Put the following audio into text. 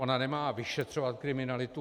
Ona nemá vyšetřovat kriminalitu.